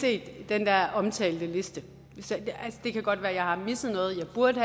set den der omtalte liste det kan godt være at jeg har misset noget at jeg burde